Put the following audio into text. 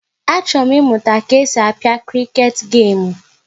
Achọrọ m ịmụta ka e si a pịa kriket gemu